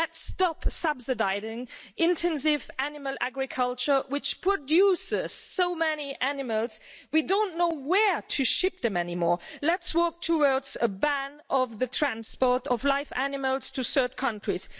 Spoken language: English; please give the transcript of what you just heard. Let's stop subsidising intensive animal agriculture, which produces so many animals, we don't know where to ship them any more. Let's work towards a ban on the transport of live animals to third countries.